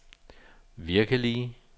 virkelige